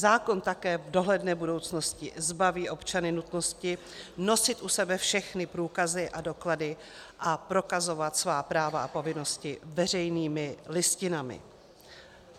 Zákon také v dohledné budoucnosti zbaví občany nutnosti nosit u sebe všechny průkazy a doklady a prokazovat svá práva a povinnosti veřejnými listinami.